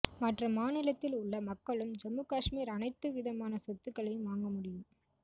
மற்ற மாநிலத்தில் உள்ள மக்களும் ஜம்மு காஷ்மீர் அனைத்துவிதமான சொத்துக்களையும் வாங்க முடியும்